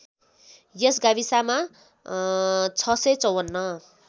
यस गाविसमा ६५४